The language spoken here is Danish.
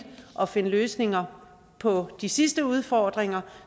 at finde løsninger på de sidste udfordringer